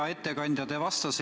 Hea ettekandja!